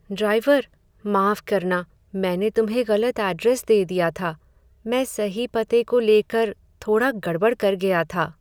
Driver! माफ करना, मैंने तुम्हें गलत ऐड्रेस दे दिया था। मैं सही पते को लेकर थोड़ा गड़बड़ कर गया था।